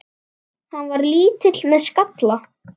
Hann var lítill með skalla.